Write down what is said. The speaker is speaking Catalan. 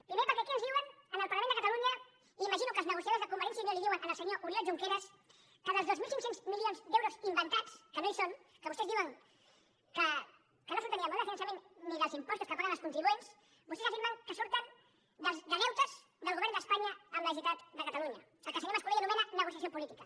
primer perquè aquí ens diuen en el parlament de catalunya i imagino que els negociadors de convergència i unió li ho diuen al senyor oriol junqueras que els dos mil cinc cents milions d’euros inventats que no hi són que vostès diuen que no surten ni del model de finançament ni dels impostos que paguen els contribuents vostès afirmen que surten de deutes del govern d’espanya amb la generalitat de catalunya el que el senyor mas colell anomena negociació política